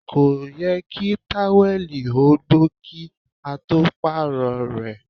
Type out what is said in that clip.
Kò yẹ kí táwẹ̀lì ó gbó kí a tó Pààrọ̀ rẹ̀